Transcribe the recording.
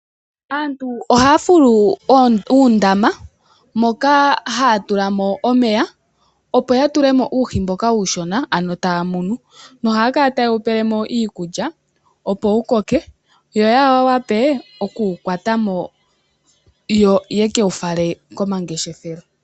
Aantu ohaya fulu uundama moka haya tulamo omeya opo ya tulemo uuhi mboka uushona ano taya munu yo ohaya kala taye wu pelemo iikulya opo wu koke yo ya wape okuwukwatamo yo yeke wu fale komangeshefelo.